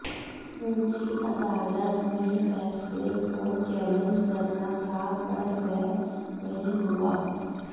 ऊँची अदालत में फ़ैसले को चैलेंज करना था पर वह नहीं हुआ